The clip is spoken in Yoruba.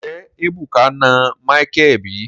Nje ebuka na Micheal bi?